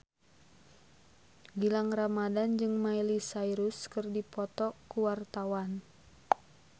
Gilang Ramadan jeung Miley Cyrus keur dipoto ku wartawan